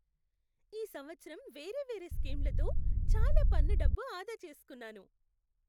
ఈ సంవత్సరం వేరే వేరే స్కీంలతో చాలా పన్ను డబ్బు ఆదా చేస్కున్నాను.